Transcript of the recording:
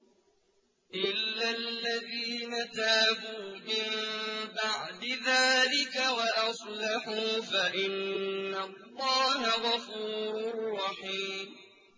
إِلَّا الَّذِينَ تَابُوا مِن بَعْدِ ذَٰلِكَ وَأَصْلَحُوا فَإِنَّ اللَّهَ غَفُورٌ رَّحِيمٌ